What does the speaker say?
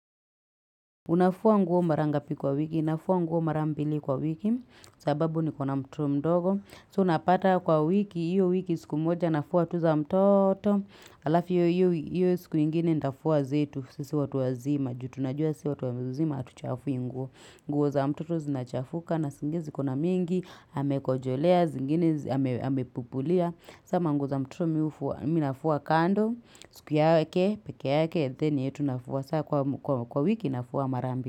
Unafua nguo marangapi kwa wiki, unafua nguo marambili kwa wiki, sababu ni kuna mtuo mdogo. So unapata kwa wiki, hiyo wiki siku moja, nafua tuza mtoto, alafu hiyo hiyo siku ingine nitafua zetu, sisi watuwa zima, juu tunajua sisi watuwa zima, atuchafu inguo. Nguo za mtoto zinachafuka na singizi kuna mingi, hamekojolea, zingine, hamepupulia. Kama nguo za mtoto minafuwa kando, siku ya wake, peke ya wake, theni yetu nafuwa, saa kwa wiki nafuwa marambi.